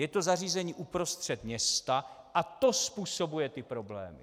Je to zařízení uprostřed města a to způsobuje ty problémy.